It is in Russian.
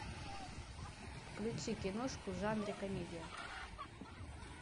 включи киношку в жанре комедия